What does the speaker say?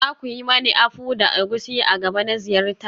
Za ku yi mani akpu da egusi a gaba na ziyarta?